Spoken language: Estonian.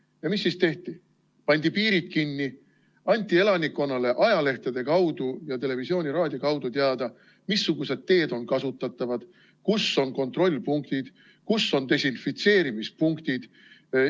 Ja mis siis tehti: pandi piirid kinni, anti elanikkonnale ajalehtede ja televisiooni-raadio kaudu teada, missugused teed on kasutatavad, kus on kontrollpunktid, kus on desinfitseerimispunktid.